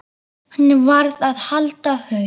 Hann varð að halda haus.